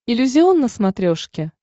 иллюзион на смотрешке